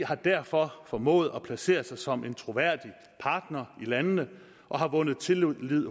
har derfor formået at placere sig som en troværdig partner i landene og har vundet tillid